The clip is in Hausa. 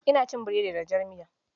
Ina cin burodi da jar miya.